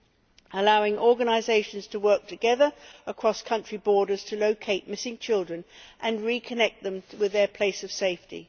It allows organisations to work together across country borders to locate missing children and reconnect them with their place of safety.